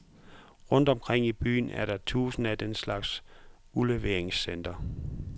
Rundt omkring i byen er der et tusind af den slags udleveringscentre.